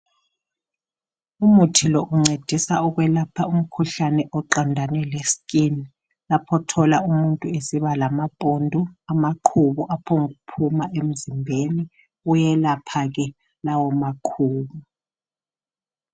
Umuthi lo uncedisa ukwelapha umkhuhlane oqondane leskini lapho othola umuthi esiba lamabhundu amaqhubu aphomb'ukuphima emzimbeni uyelapha ke lawo maqhubu.